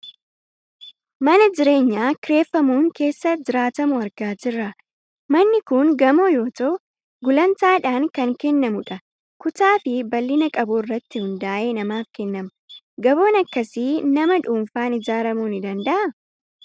Mana jireenyaa kireeffamuun keessa jiraatamu argaa jirra. Manni kun gamoo yoo ta'u, gulantaadhaan kan kennamu dha. Kutaa fi bal'ina qabu irratti hundaa'ee namaaf kennama. Gamoon akkasii nama dhuunfaan ijaaramuu ni danda'aa?